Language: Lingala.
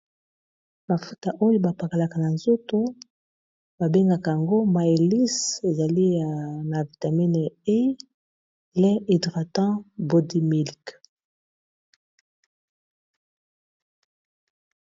mafuta oyo bapakalaka na nzoto babengaka yango mailis ezali na vitamine lin hydratam body milk